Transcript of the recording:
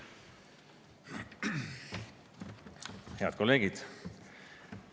Head kolleegid!